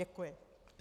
Děkuji.